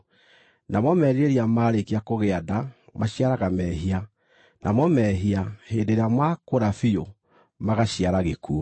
Namo merirĩria marĩkia kũgĩa nda, maciaraga mehia; namo mehia hĩndĩ ĩrĩa maakũra biũ, magaciara gĩkuũ.